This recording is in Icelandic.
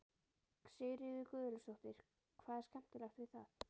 Sigríður Guðlaugsdóttir: Hvað er skemmtilegt við það?